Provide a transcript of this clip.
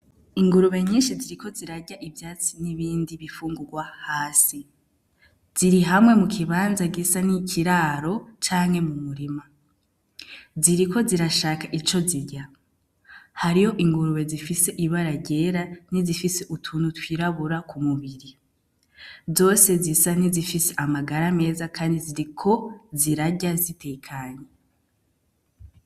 Ingurube nyinshi ziriko zirarya ivyatsi n'ibindi bifungurwa hasi ziri hamwe mu kibanza gisa n'ikiraro canke mu murima ziriko zirashaka ico zirya hariho ingurube zifise ibara ryera ni zifise utuntu twirabura ku mubiri zose zisa ntizifise amagara meza, kandi ziri ko zirarya zitekanye.